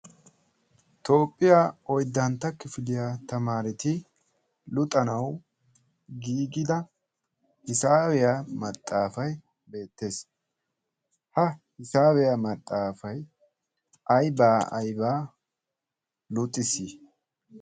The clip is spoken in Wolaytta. toophphiyaa oiddantta kifiliyaa tamaareti luxanau giigida hisaabiyaa maxaafai beettees. ha hisaabiyaa maxaafai aibaa aibaa luxisi?